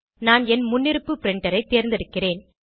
நான் என் முன்னிருப்பு பிரின்டர் ஐ தேர்ந்தெடுக்கிறேன்